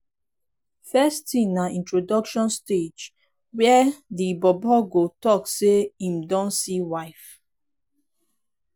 first tin na introduction stage wia di bobo go tok say em don see wife